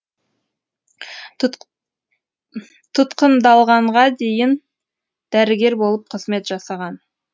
тұтқындалғанға дейін дәрігер болып қызмет жасаған